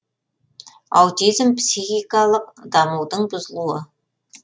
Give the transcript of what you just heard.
аутизм психикалық дамудың бұзылуы